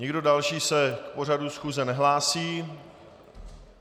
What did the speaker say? Nikdo další se k pořadu schůze nehlásí.